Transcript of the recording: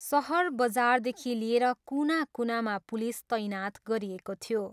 सहर, बजारदेखि लिएर कुना कुनामा पुलिस तैनात गरिएको थियो।